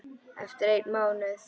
Eftir einn mánuð?